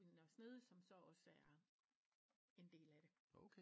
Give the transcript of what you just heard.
I Nørre Snede som så også er en del af det